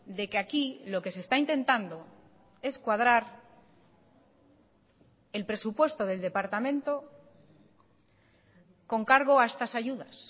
de que aquí lo que se está intentando es cuadrar el presupuesto del departamento con cargo a estas ayudas